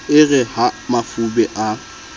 e re ha mafube a